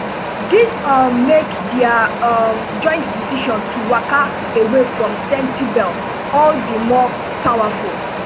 dis um make dia um joint decision to waka away from sentebale all di more powerful